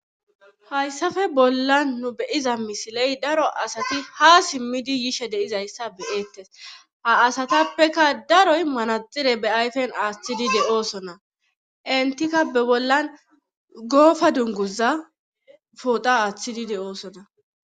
hayssafe bollan nu beyiza misiley daro asati ha simmidi yishe deizayssa beeettes ha asatappeka daroy manaxire be ayfen aaththidi de7oosona entikka be bollan goofa dunguza pooda aaththidi de7oosona